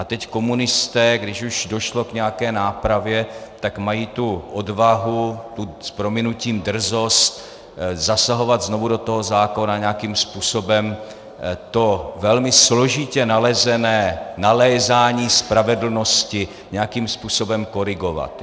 A teď komunisté, když už došlo k nějaké nápravě, tak mají tu odvahu, tu, s prominutím, drzost zasahovat znovu do toho zákona nějakým způsobem, to velmi složitě nalezené nalézání spravedlnosti nějakým způsobem korigovat.